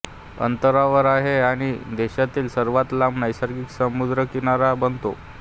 ॳतरावर आहे आणि देशातील सर्वात लांब नैसर्गिक समुद्रकिनारा बनतो